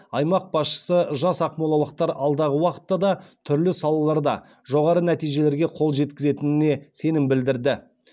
аймақ басшысы жас ақмолалықтар алдағы уақытта да түрлі салаларда жоғары нәтижелерге қол жеткізетініне сенім білдірді